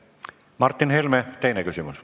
Martin Helme, teine küsimus.